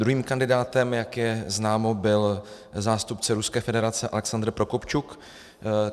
Druhým kandidátem, jak je známo, byl zástupce Ruské federace Alexandr Prokopčuk.